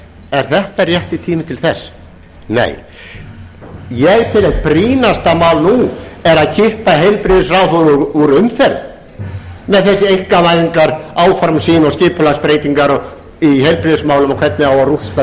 er þetta rétti tíminn til þess nei ég tel að eitt brýnasta mál nú sé að kippa heilbrigðisráðherra úr umferð með þessi einkavæðingaráform sín og skipulagsbreytingar í heilbrigðismálum og hvernig á að rústa